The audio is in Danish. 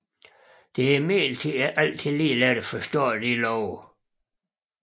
Det er imidlertid ikke altid lige let at forstå disse love